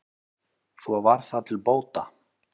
svo var það til bóta